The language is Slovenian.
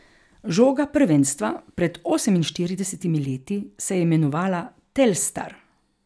Žoga prvenstva pred oseminštiridesetimi leti se je imenovala Telstar.